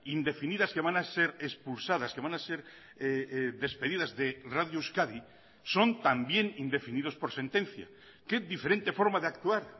indefinidas que van a ser expulsadas que van a ser despedidas de radio euskadi son también indefinidos por sentencia que diferente forma de actuar